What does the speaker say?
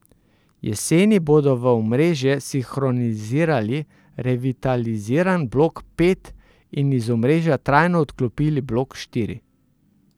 Jeseni bodo v omrežje sinhronizirali revitaliziran blok pet in iz omrežja trajno odklopili blok štiri.